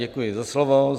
Děkuji za slovo.